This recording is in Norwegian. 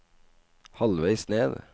halvveis ned